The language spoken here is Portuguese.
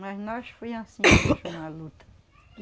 Mas nós foi anssim... uma luta.